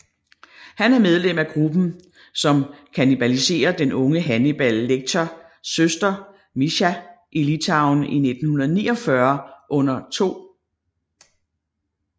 Han er medlem af gruppen som kannibaliserer den unge Hannibal Lecters søster Mischa i Litauen i 1944 under 2